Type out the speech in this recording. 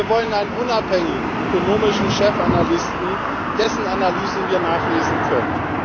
Wir wollen einen unabhängigen ökonomischen Chefanalysten, dessen Analysen wir nachlesen können.